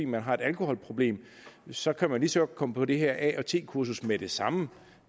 man har et alkoholproblem så kan man lige så godt komme på det her at kursus med det samme